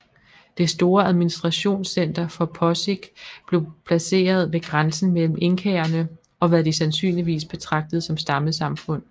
Det store administrationscenter for Posic blev placeret ved grænsen mellem inkaerne og hvad de sandsynligvis betragtede som stammesamfund